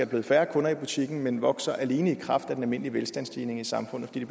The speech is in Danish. blevet færre kunder i butikken men vokser alene i kraft af den almindelige velstandsstigning i samfundet fordi